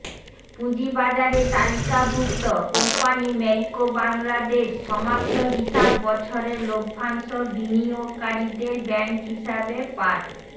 পুঁজিবাজারে তালিকাভুক্ত company Marico Bangladesh সমাপ্ত হিসাব বছরের লভ্যাংশ বিনিয়োগকারীদের ব্যাংক হিসাবে পাঠ